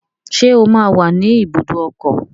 Ṣé ó máa wà ní ibùdó ọkọ̀?